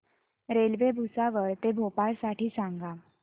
railway Bhusawal ते भोपाळ साठी सांगा